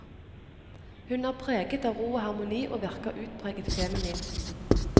Hun er preget av ro og harmoni og virker utpreget feminin.